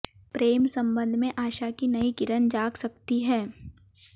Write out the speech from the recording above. प्रेम संबंध में आशा की नई किरण जाग सकती है